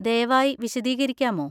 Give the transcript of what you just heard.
ദയവായി വിശദീകരിക്കാമോ?